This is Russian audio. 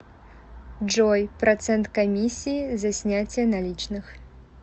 джой процент комиссии за снятие наличных